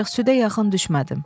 Ancaq südə yaxın düşmədim.